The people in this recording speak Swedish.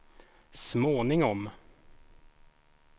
småningom